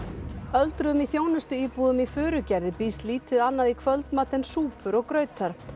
öldruðum í þjónustuíbúðum í Furugerði býðst lítið annað í kvöldmat en súpur og grautar